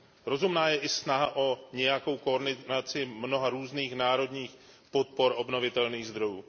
Rozumná je i snaha o nějakou koordinaci mnoha různých národních podpor obnovitelných zdrojů.